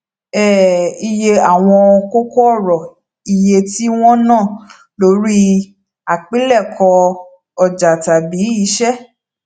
um iye àwọn kókó òrò iye tí wọn ná lórí àpilèkọ ọjà tàbí iṣẹ